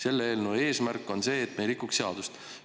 Selle eelnõu eesmärk on see, et me ei rikuks seadust.